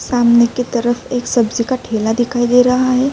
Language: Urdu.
سامنے کی طرف ایک سبجی کا تھیلا دکھائی دے رہا ہے۔